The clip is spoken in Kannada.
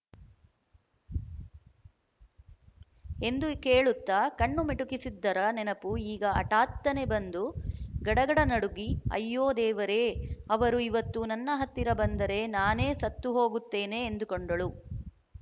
ಎಂದು ಕೇಳುತ್ತ ಕಣ್ಣು ಮಿಟುಕಿಸಿದ್ದರ ನೆನಪು ಈಗ ಹಠಾತ್ತನೆ ಬಂದು ಗಡಗಡ ನಡುಗಿ ಅಯ್ಯೋ ದೇವರೇ ಅವರು ಇವತ್ತು ನನ್ನ ಹತ್ತಿರ ಬಂದರೆ ನಾನು ಸತ್ತು ಹೋಗುತ್ತೇನೆ ಎಂದುಕೊಂಡಳು